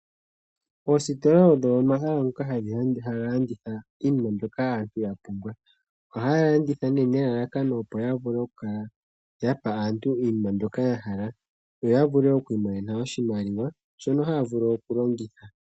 Oositola ogo omahala ngoka haga landitha iinima mbyoka aantu yapumbwa . Ohaya landitha nelalakano yavule okukala yapa aantu iinima mbyoka yahala opo yavule okwiimonena oshimaliwa shono haya vulu okulongitha.